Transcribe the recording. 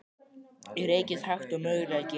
Ég reyki eins hægt og ég mögulega get.